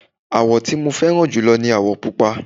àwọ̀ tí mo fẹ́ràn jùlọ ní àwọ̀ pupa